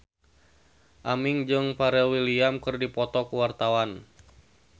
Aming jeung Pharrell Williams keur dipoto ku wartawan